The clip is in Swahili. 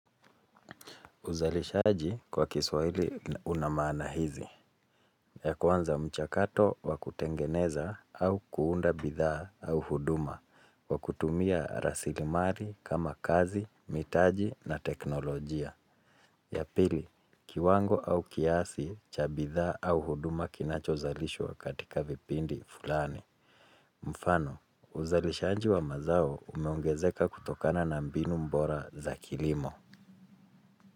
Uzalishaji kwa kiswahili una maana hizi, ya kwanza mchakato wa kutengeneza au kuunda bidhaa au huduma kwa kutumia rasilimari kama kazi, mitaji na teknolojia. Ya pili, kiwango au kiasi cha bidhaa au huduma kinachozalishwa katika vipindi fulani. Mfano, uzalishaji wa mazao umeongezeka kutokana na mbinu mbora za kilimo.